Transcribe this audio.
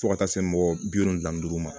Fo ka taa se mɔgɔ bi wolonfila ni duuru ma